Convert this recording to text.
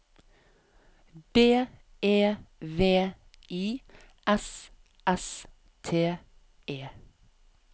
B E V I S S T E